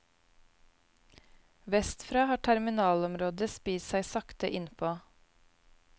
Vestfra har terminalområdet spist seg sakte innpå.